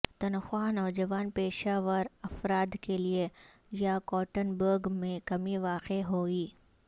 تنخواہ نوجوان پیشہ ور افراد کے لئے یاکاٹرنبرگ میں کمی واقع ہوئی